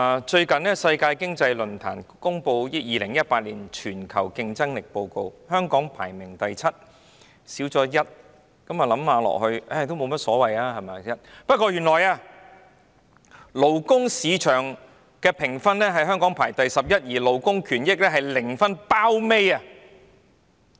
最近世界經濟論壇公布2018年全球競爭力報告，香港排名第七，倒退1名，想想即使倒退1名也沒有所謂吧，但原來勞工市場的評分中，香港排名第十一，而香港在勞工權益方面是零分，是最後一名。